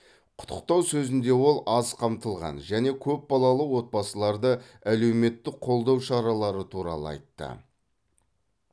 құттықтау сөзінде ол аз қамтылған және көп балалы отбасыларды әлеуметтік қолдау шаралары туралы айтты